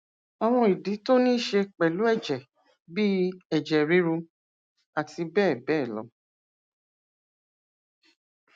àwọn ìdí tó ní í ṣe pẹlú ẹjẹ bíi ẹjẹ ríru abbl